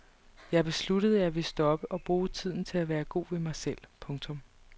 Jeg besluttede at jeg ville stoppe og bruge tiden til at være god ved mig selv. punktum